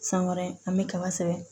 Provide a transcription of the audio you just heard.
San wɛrɛ an bɛ kaba sɛbɛn